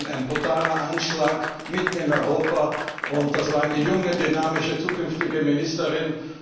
Das war ein brutaler Anschlag mitten in Europa, und sie war eine junge, dynamische zukünftige Ministerin.